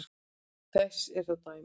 Þess eru þó dæmi.